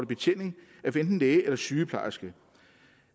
betjening af enten læge eller sygeplejerske